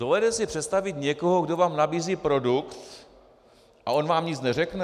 Dovedete si představit někoho, kdo vám nabízí produkt a on vám nic neřekne?